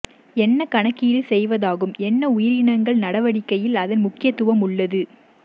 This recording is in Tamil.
என்ன கணக்கீடு செய்வதாகும் என்ன உயிரினங்கள் நடவடிக்கையில் அதன் முக்கியத்துவம் உள்ளது